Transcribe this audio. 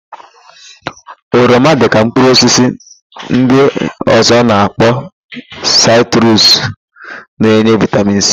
Oroma, dịka mkpụrụosisi ndị ọ̀zọ́ a na-akpọ sitrus na-enye vịtamin sii.